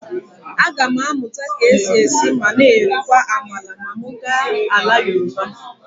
Aga m amụta ka e si esi ma na-erikwa amala ma m gaa ala Yoruba.